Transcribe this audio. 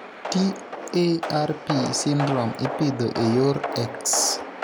TARP syndrome ipidho e yor X.